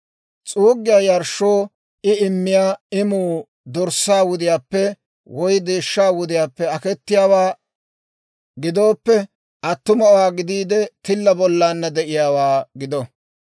« ‹S'uuggiyaa yarshshoo I immiyaa imuu dorssaa wudiyaappe woy deeshshaa wudiyaappe akettiyaawaa gidooppe, attumawaa gidiide, tilla bollana de'iyaawaa gido.